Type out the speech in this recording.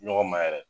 Ɲɔgɔn ma yɛrɛ